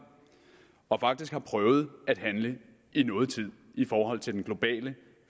og faktisk har prøvet at handle i noget tid i forhold til den globale